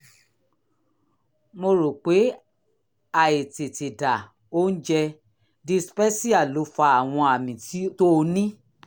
mo rò pé àìtètèdà oúnjẹ (dyspepsia) ló fa àwọn àmì tó o ní